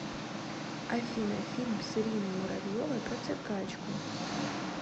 афина фильм с ириной муравьевой про циркачку